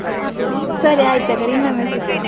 ಅಹ್ ಸರಿ ಆಯ್ತ್ ಹಾಗಾದ್ರೆ, ಇನ್ನೊಮ್ಮೆ ಸಿಗ್ವಾ?